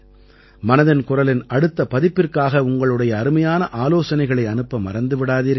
மனதின் குரலின் அடுத்த பதிப்பிற்கான உங்களுடைய அருமையான ஆலோசனைகளை அனுப்ப மறந்து விடாதீர்கள்